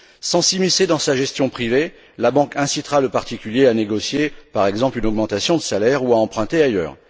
Sans s'immiscer dans sa gestion privée, la banque incitera le particulier à négocier, par exemple, une augmentation de salaire ou à emprunter ailleurs.